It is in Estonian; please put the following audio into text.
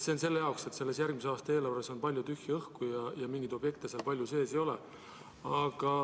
See on selle jaoks, et järgmise aasta eelarves on palju tühja õhku ja mingeid objekte seal eriti sees ei ole.